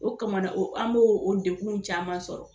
O kamana o an b' o deguw caman sɔrɔ